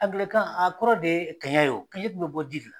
Angilɛkan a kɔrɔ de ye kɛɲɛn ye o kɛɲɛn dun bɛ bɔ ji de la.